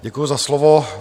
Děkuji za slovo.